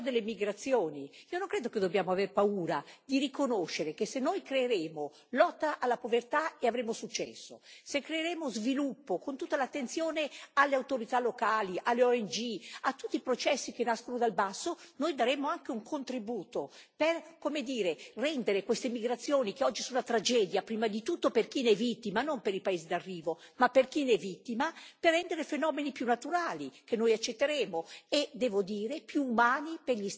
Io non credo che dobbiamo avere paura di riconoscere che se noi creeremo lotta alla povertà avremo successo, se creeremo sviluppo con tutta l'attenzione alle autorità locali, alle ONG, a tutti i processi che nascono dal basso, noi daremo anche un contributo per, come dire, rendere queste migrazioni, che oggi sono una tragedia prima di tutto per chi ne è vittima, non per i paesi d'arrivo, ma per chi ne è vittima, per renderle fenomeni più naturali che noi accetteremo e devo dire più umani per gli stessi protagonisti.